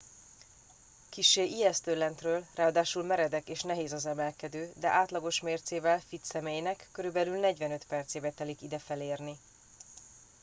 kissé ijesztő lentről ráadásul meredek és nehéz az emelkedő de átlagos mércével fitt személynek körülbelül 45 percébe telik ide felérni